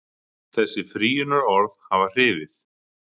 Þessi frýjunarorð hafi hrifið.